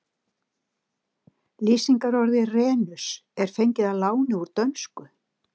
Lýsingarorðið renus er fengið að láni úr dönsku.